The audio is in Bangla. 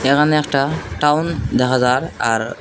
এখানে একটা টাউন দেখা যার আর--